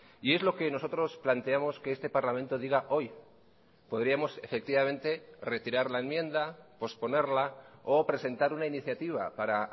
y es lo que nosotros planteamos que este parlamento diga hoy podríamos efectivamente retirar la enmienda posponerla o presentar una iniciativa para